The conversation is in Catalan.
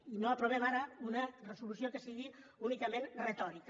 i no aprovem ara una resolució que sigui únicament retòrica